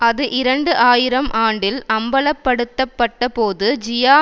அது இரண்டு ஆயிரம் ஆண்டில் அம்பலப்படுத்தப்பட்டபோது ஜியா